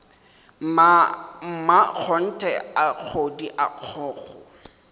mmakgonthe a kgodi a kgokgo